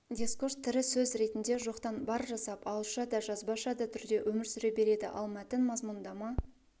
дискурс тірі сөз ретінде жоқтан бар жасап ауызша да жазбаша да түрде өмір сүре береді ал мәтін мазмұндама